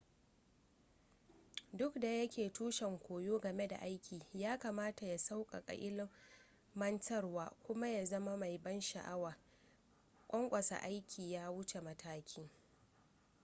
duk da yake tushen koyo game da aiki yakamata ya sauƙaƙa ilmantarwa kuma ya zama mai ban sha'awa ƙwanƙwasa aiki ya wuce mataki